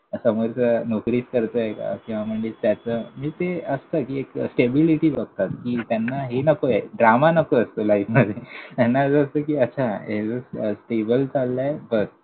समोरचा नोकरीच करतोय का? किंवा म्हणजे त्याचं. म्हणजे ते असतं कि एक stability बघतात, कि त्यांना हे नकोय, drama नको असतो लाईफमध्ये. त्यांना असं असतं कि, ह्याचं stable चाललंय? बस!